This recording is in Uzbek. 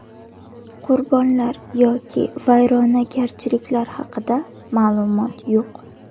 Qurbonlar yoki vayronagarchiliklar haqida ma’lumot yo‘q.